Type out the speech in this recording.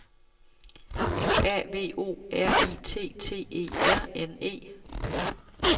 F A V O R I T T E R N E